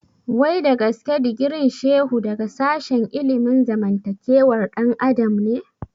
Wai dagaske digirin Shehu daga sashen ilimin zamantakewar ɗan adam ne?